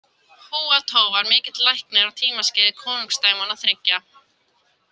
Húa Tó var mikill læknir á tímaskeiði Konungdæmanna þriggja .